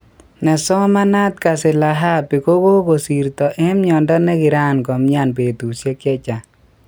Nesomanat Kazilahabi kokokosirto eng miondo nekiran komian betushek chechang.